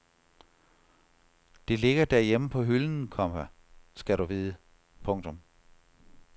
Det ligger derhjemme på hylden, komma skal du vide. punktum